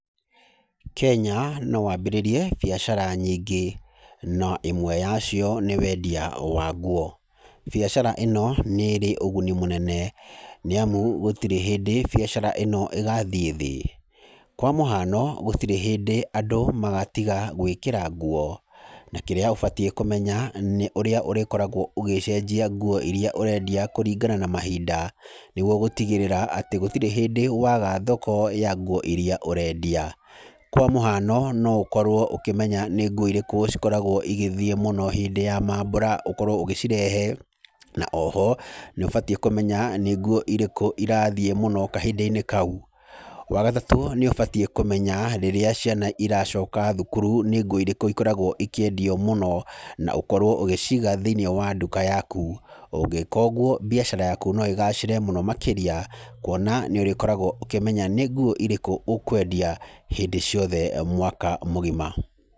Kenya no wambĩrĩrie biacara nyingĩ no ĩmwe yacio nĩ wendia wa nguo. Biacara ĩno nĩ ĩrĩ ũguni mũnene nĩ amu gũtirĩ hĩndĩ biacara ĩno ĩgathiĩ thĩ. Kwa mũhano gũtirĩ hĩndĩ andũ magatiga gwĩkĩra nguo na kĩrĩa ũbatiĩ kũmenya nĩ ũrĩa ũrĩkoragwo ũgĩcenjia nguo irĩa ũrenda kwendia kũringana na mahinda. Nĩguo gũtigĩrĩra atĩ gũtirĩ hĩndĩ waga thoko ya nguo irĩa ũrenda kwendia. Kwa mũhiano no ũkorwo ũkĩmenya nĩ nguo irĩkũ ikoragwo igĩthiĩ mũno hĩndĩ ya maambũra ũkorwo ũgĩcirehe. Na o ho nĩ ũbatiĩ kũmenya nĩ nguo irĩkũ irathiĩ mũno kahinda-inĩ kau. Wa gatatũ nĩ ũbatiĩ kũmenya rĩrĩa ciana iracoka thukuru nĩ nguo irĩkũ ikoraga ikĩendio mũno, na ũkorwo ũgĩciiga thĩinĩ wa nduka yaku. Ũngĩka ũguo biacara yaku no ĩgathĩre mũno makĩrĩa, kuona nĩ ũrĩkoragwo ũkĩmenya nĩ nguo irĩkũ ũkũendia hĩndĩ ciothe mwaka mũgima.